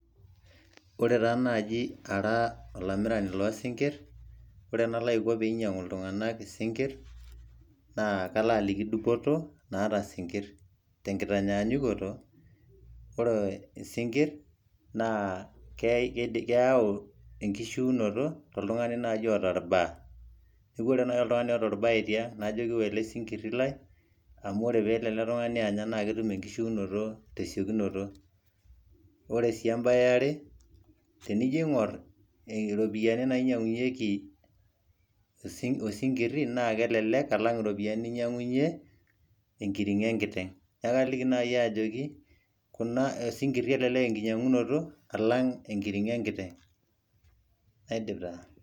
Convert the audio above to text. Ore ta naaji ara olamirani lo sinkirr, ore enalaiko pe inyang'u iltung'anak isinkirr, naa kalaaliki dupoto naata sinkirr. Tenkitanyanyukoto, ore isinkirr na keyau enkishiunoto to oltung'ani nai oata ilmbaa. Neeku ore nai oltung'ani oata orbae tiang', najoki ua ele sinkirri lai amu ore pe elo ele tung'ani anya na ketum enishiunoto tesiokinoto. Ore si ebae eare, tenijo aing'or iropiyiani nainyang'unyeki osinkirri, na kelelek alang' iropiyiani ninyang'unye enkiring'o enkiteng'. Neeku kaliki nai ajoki, kuna osinkirri elelek enkinyang'unoto alang' enkiring'o enkiteng'. Naidip taa.